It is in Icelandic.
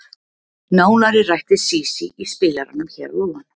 Nánar er rætt við Sísí í spilaranum hér að ofan.